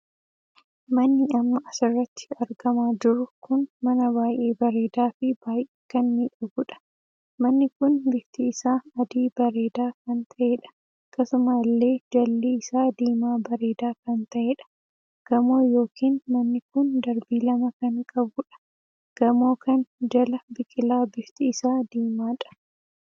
Manni Amma asirratti argama jirru kun mana baay'ee bareedaa fi baay'ee kan miidhaguudha. manni kun bifti isaa adii bareedaa kan taheedha. akkasumallee jalli isaa diimaa bareedaa kan taheedha. gamoo ykn manni kun darbii lama kan qabuudha. gamoo kan jala biqilaa bifti isaa diimaadha.